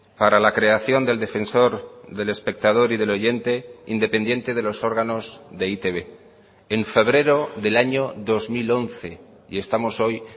para la creación del defensor del espectador y del oyente independiente de los órganos de e i te be en febrero del año dos mil once y estamos hoy